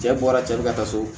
Cɛ bɔra cɛ bi ka taa so